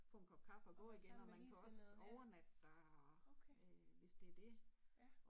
Få en kop kaffe og gå igen og man kan også overnatte der og øh hvis det det